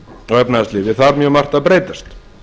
og efnahagslífi þarf mjög margt að breytast